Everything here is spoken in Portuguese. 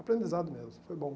Aprendizado mesmo, foi bom.